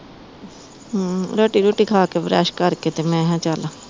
ਹੂੰ ਰੋਟੀ ਰੂਟੀ ਖਾ ਕ ਬੁਰਸ਼ ਕਰ ਕੇ ਮੈਂ ਕਿਹਾ ਚੱਲ